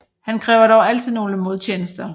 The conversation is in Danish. Han kræver dog altid nogle modtjenester